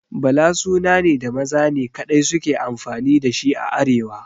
Bala suna ne da maza ne kaɗai suke amfani da shi a arewa